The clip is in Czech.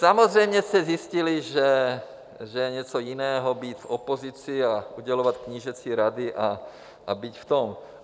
Samozřejmě jste zjistili, že je něco jiného být v opozici a udělovat knížecí rady a být v tom.